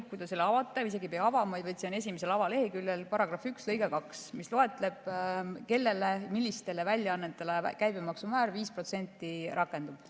Kui te selle avate, te isegi ei pea avama seda, see on avaleheküljel § 1 lõige 2, milles on loetletud, millistele väljaannetele 5%‑line käibemaksumäär rakendub.